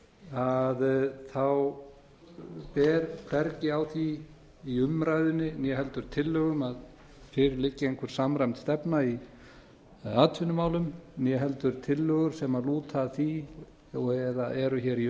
að þá ber hvergi á því í umræðunni né heldur tillögum að fyrir liggi einhver samræmd stefna í atvinnumálum né heldur tillögur sem lúta að því og eða eru hér í